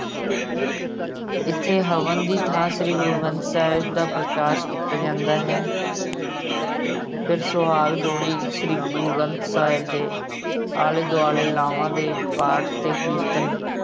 ਇੱਥੇ ਹਵਨ ਦੀ ਥਾਂ ਸ਼੍ਰੀ ਗੁਰੂ ਗਰੰਥ ਸਾਹਿਬ ਦਾ ਪ੍ਰਕਾਸ ਕੀਤਾ ਜਾਂਦਾ ਹੈ ਫਿਰ ਸੁਹਾਗ ਜੋੜੀ ਸ਼੍ਰੀ ਗੁਰੂ ਗਰੰਥ ਸਾਹਿਬ ਦੇ ਆਲੇ ਦੁਆਲੇ ਲਾਵਾਂ ਦੇ ਪਾਠ ਤੇ ਕੀਰਤਨ।